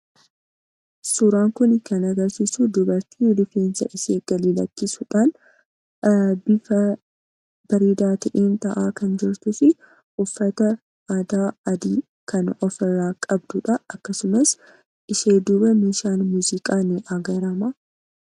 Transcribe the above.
Suuraan kun kan agarsiisu dubartii rifeensa ishee gadi lakkisuudhaan bifa bareedaa ta'een taa'aa kan jirtuu fi uffata aadaa adii kan ofirraa qabduu dha. Akkasumas, ishee duuba meeshaan muuziqaa ni agarama.